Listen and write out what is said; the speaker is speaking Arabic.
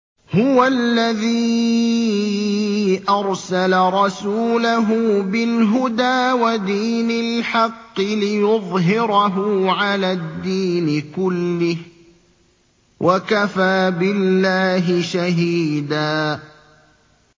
هُوَ الَّذِي أَرْسَلَ رَسُولَهُ بِالْهُدَىٰ وَدِينِ الْحَقِّ لِيُظْهِرَهُ عَلَى الدِّينِ كُلِّهِ ۚ وَكَفَىٰ بِاللَّهِ شَهِيدًا